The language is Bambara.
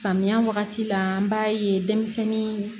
Samiya wagati la an b'a ye denmisɛnnin